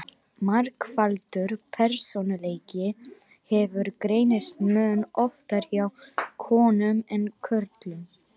Margfaldur persónuleiki hefur greinst mun oftar hjá konum en körlum.